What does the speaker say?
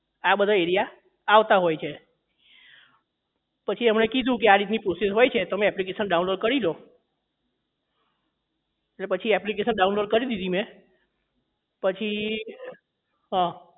આ બધા area આવતા હોય છે પછી એમને કીધું કે આ રીતની process હોય છે તમે application download કરી દો એટલે પછી application download કરી દીધી મેં પછી હા